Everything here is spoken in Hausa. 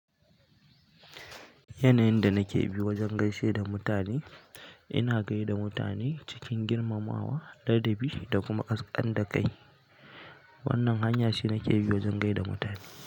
Yanayin da nake bi wajen gaishe da mutane in na gai da mutane cikin girmamawa ladabi da kuma kaskantar da kai. Wannan hanya ce nake bi wajen gai da mutane.